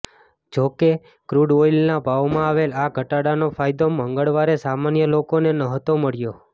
જોકે ક્રુડ ઓઇલના ભાવમાં આવેલ આ ઘટાડાનો ફાયદો મંગળવારે સામાન્ય લોકોને નહોતો મળ્યો